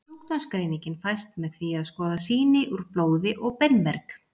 Sjúkdómsgreiningin fæst með því að skoða sýni úr blóði og beinmerg.